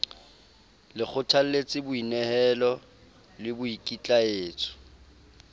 le kgothalletse boinehelo le boikitlaetso